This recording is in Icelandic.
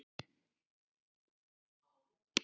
Dóttir þeirra er Andrea Rún.